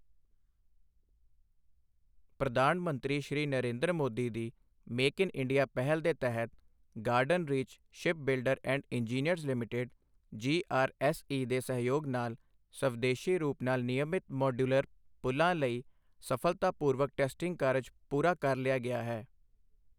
ਪ੍ਰਧਾਨ ਮੰਤਰੀ ਸ਼੍ਰੀ ਨਰੇਂਦਰ ਮੋਦੀ ਦੀ ਮੇਕ ਇਨ ਇੰਡੀਆ ਪਹਿਲ ਦੇ ਤਹਿਤ garden reach shipbuilder and engineers limited GRSE ਦੇ ਸਹਿਯੋਗ ਨਾਲ ਸਵਦੇਸ਼ੀ ਰੂਪ ਨਾਲ ਨਿਯਮਿਤ ਮੌਡੂਲਰ ਪੁਲ਼ਾਂ ਲਈ ਸਫਲਤਾਪੂਰਵਕ ਟੈਸਟਿੰਗ ਕਾਰਜ ਪੂਰਾ ਕਰ ਲਿਆ ਗਿਆ ਹੈ।